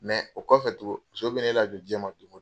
Mɛ o kɔfɛ tugun, muso bɛ ne la jɔ diɲɛ ma tuguni.